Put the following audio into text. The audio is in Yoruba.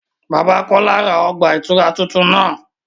Bàbà Kọla rá ọgba-itura tuntun náà